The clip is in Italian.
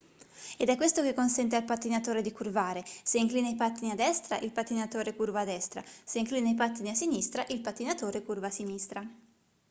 ed è questo che consente al pattinatore di curvare se inclina i pattini a destra il pattinatore curva a destra se inclina i pattini a sinistra il pattinatore curva a sinistra